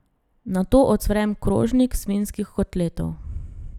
Nato ocvrem krožnik svinjskih kotletov.